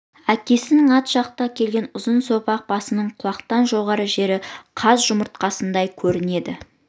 әкесінің ат жақты келген ұзын сопақ басының құлақтан жоғарғы жері қаз жұмыртқасындай көрінеді